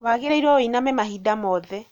Waigĩrĩrwo wĩiname mahinda mothe